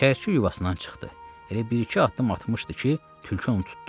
Çəyirtkə yuvasından çıxdı, elə bir-iki addım atmışdı ki, tülkü onu tutdu.